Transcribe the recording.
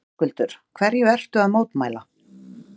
Höskuldur: Hverju ertu að mótmæla?